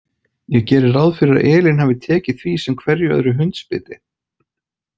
Ég geri ráð fyrir að Elín hafi tekið því sem hverju öðru hundsbiti.